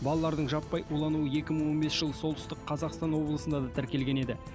балалардың жаппай улануы екі мың он бесінші жылы солтүстік қазақстан облысында да тіркелген еді